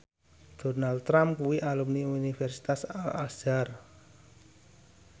Donald Trump kuwi alumni Universitas Al Azhar